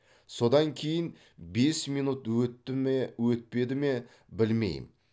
содан кейін бес минут өтті ме өтпеді ме білмеймін